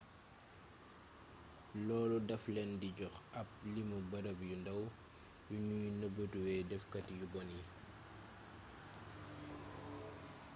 loolu daf leen di jox ab limu barab yu ndaw yuñuy nëbëtuwee dafkati yu bon yi